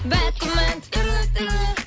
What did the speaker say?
бәк күмән түрлі түрлі